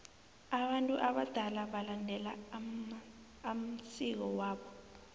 abantu abadala balandela amsiko wabo